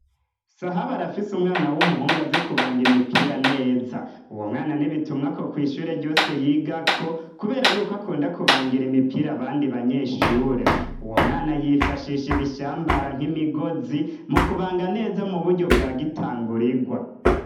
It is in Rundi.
Sahabu arafise umwana w'umuhungu azi kubanga imipira neza uwo mwana nibitumwa ko kw'ishure ryose yigako, kubera yuko akunda kubangira imipira abandi banyeshure uwo mwana yifashisha ibishambara nk'imigozi mu kubanga neza mu buryo bwa gitanga urigwa.